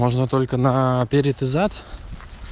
можно только на перед и зад